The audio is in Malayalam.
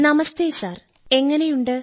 നമസ്തേ സർ എങ്ങനെയുണ്ട്